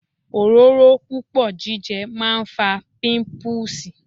Òróró púpọ̀ jíjẹ máa ń fa píńpúùsì.